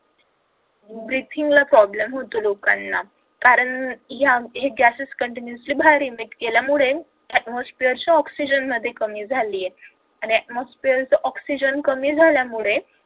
breathing ला problem होतो लोकांना कारण हे gases continuously बाहेर केल्यामुळे atmosphere च्या oxygen मध्ये कमी झालेय आणि atmosphere च oxygen कमी झाल्यामुळे